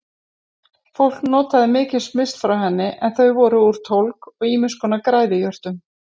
Fólk notaði mikið smyrsl frá henni en þau voru úr tólg og ýmiss konar græðijurtum.